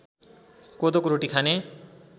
कोदोको रोटी खाने